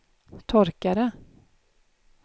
torkare